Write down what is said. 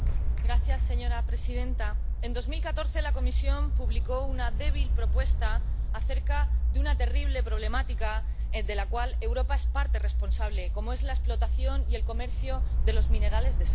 Señora presidenta, en 2014 la Comisión publicó una débil propuesta acerca de una terrible problemática de la cual Europa es parte responsable la explotación y el comercio de los minerales de sangre.